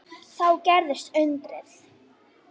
Þá gerðist undrið.